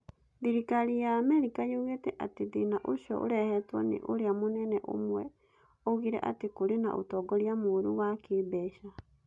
Thirikari ya Amerika yugĩte atĩ thĩna ũcio ũrehetwo nĩ ũrĩa munene ũmwe oigire atĩ kũrĩ na ũtongoria mũũru wa kĩĩmbeca.